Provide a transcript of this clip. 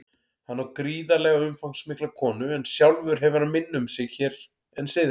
Hann á gríðarlega umfangsmikla konu en sjálfur hefur hann minna um sig hér en syðra.